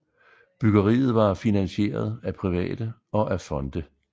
Byggeriet var finansieret af private og af fonde